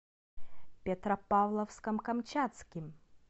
петропавловском камчатским